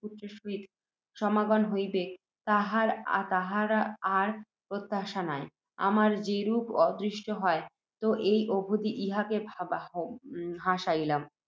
পুত্র এর সহিত সমাগম হইবেক, তাহার আর প্রত্যাশা নাই, আমার যেরূপ অদৃষ্ট, হয় ত এই অবধি ইহাকেও হারাইলাম।